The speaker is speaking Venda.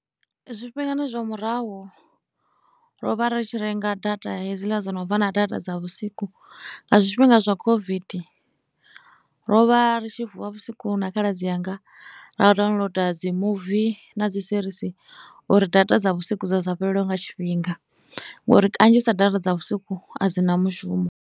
Zwifhingani zwa murahu ro vha ri tshi renga data hedziḽa dzo no bva na data dza vhusiku nga zwifhinga zwa COVID ro vha ri tshi vuwa vhusiku na khaladzi anga ra downloader dzi muvi na dzi serisi uri data dza vhusiku dza sa fhelelwe nga tshifhinga, ngori kanzhisa data dza vhusiku a dzi na mushumo.